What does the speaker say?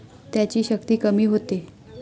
त्याची शक्ती कमी होते.